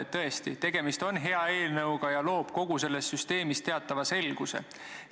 Tõesti, tegemist on hea eelnõuga, mis seaduseks saanuna loob kogu selles süsteemis teatava selguse.